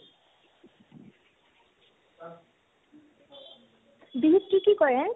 বিহুত কি কি কৰে ?